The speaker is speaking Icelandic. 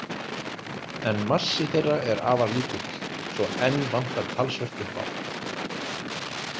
En massi þeirra er afar lítill, svo enn vantar talsvert upp á.